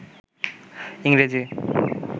ইংরেজি